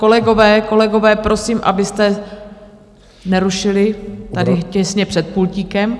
Kolegové, kolegové, prosím, abyste nerušili tady těsně před pultíkem.